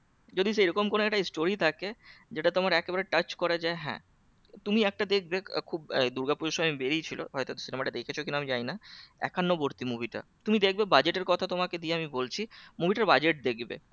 যদি সেরকম কোন একটা story থাকে যেটা তোমার একবারে touch করে যে হ্যাঁ তুমি একটা দেখবে আহ দুর্গাপুজোর সময় বেরিয়েছিল হয়তো cinema টা দেখেছো কি না আমি জানি না একান্নবর্তী movie টা তুমি দেখবে budget এর কথা তোমাকে দিয়ে আমি বলছি movie টার budget দেখবে